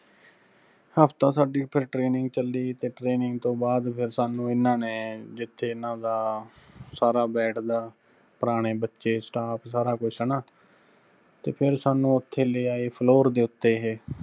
ਹਫ਼ਤਾ ਸਾਡੀ ਫਿਰ training ਚੱਲੀ, ਤੇ training ਤੋਂ ਬਾਅਦ ਫਿਰ ਸਾਨੂੰ ਇਹਨਾਂ ਨੇ ਜਿੱਥੇ ਇਹਨਾਂ ਦਾ ਸਾਰਾ ਬੈਠਦਾ, ਪੁਰਾਣੇ ਬੱਚੇ, staff ਸਾਰਾ ਕੁੱਝ ਹੈਣਾ, ਤੇ ਫਿਰ ਸਾਨੂੰ ਉੱਥੇ ਲੇ ਆਏ floor ਦੇ ਉੱਤੇ ਇਹੇ।